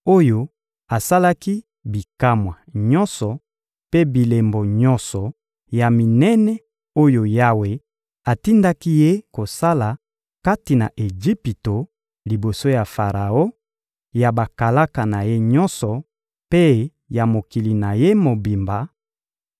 oyo asalaki bikamwa nyonso mpe bilembo nyonso ya minene oyo Yawe atindaki ye kosala kati na Ejipito liboso ya Faraon, ya bakalaka na ye nyonso mpe ya mokili na ye mobimba;